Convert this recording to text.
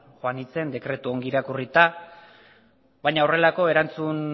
joan nintzen dekretua ongi irakurrita baina horrelako erantzun